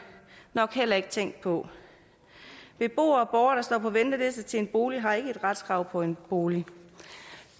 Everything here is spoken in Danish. nok heller ikke tænkt på beboere og borgere der står på venteliste til en bolig har ikke et retskrav på en bolig